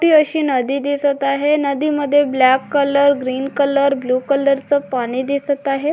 ते अशी नदी दिसत आहे नदी मध्ये black colour green colour blue colour च पाणी दिसत आहे.